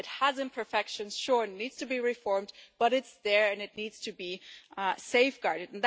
It has imperfections, sure, and needs to be reformed, but it's there and it needs to be safeguarded.